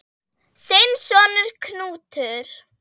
Þinn sonur, Knútur.